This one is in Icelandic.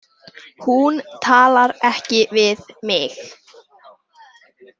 Hún talar ekki við mig.